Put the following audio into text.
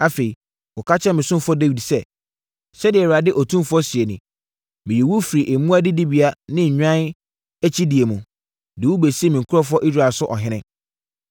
“Afei, kɔka kyerɛ me ɔsomfoɔ Dawid sɛ, ‘Sɛdeɛ Awurade Otumfoɔ seɛ nie: Meyii wo firii mmoa adidibea ne nnwan akyidie mu, de wo bɛsii me nkurɔfoɔ Israel so ɔhene.